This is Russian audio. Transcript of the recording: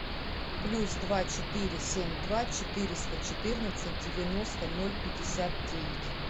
плюс два четыре семь два четыреста четырнадцать девяносто ноль пятьдесят девять